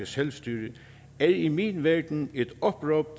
selvstyre er i min verden et opråb